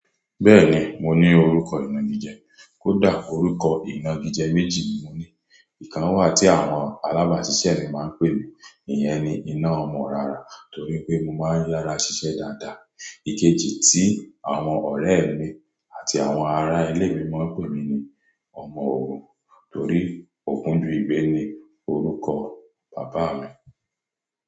Bẹ́ẹ̀ni, mo ní orúkọ ìnagijẹ. Kódà orúkọ ìnagijẹ méjì ni mo ní ìkan wà tí àwọn alábàásisẹ́ mi máa ń pè mí, ìyẹn ni "ina ọmọ orara", torí pé mo máa ń yára ṣiṣẹ́ dáadáa. Ikeji tí àwọn ọ̀rẹ́ mi àti àwọn ará ilé mi máa ń pè mí ni "ọmọ ògún", torí Ògúndùyigbẹ́ ni orúkọ bàbá mi.